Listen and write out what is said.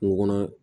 Kungo kɔnɔ